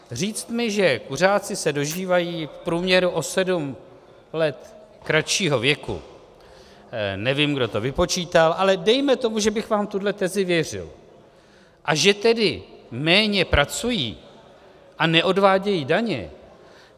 Říct mi, že kuřáci se dožívají v průměru o sedm let kratšího věku, nevím, kdo to vypočítal, ale dejme tomu, že bych vám tuhle tezi věřil, a že tedy méně pracují a neodvádějí daně.